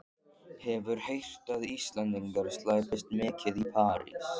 Hefur heyrt að Íslendingar slæpist mikið í París.